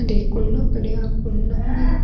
अठे एक कुनो पड़ो है कुनो --